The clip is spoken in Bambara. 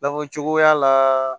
Bakuru cogoya la